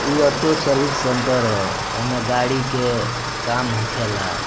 ई auto service centre ह एमें गाड़ी के काम होखेला।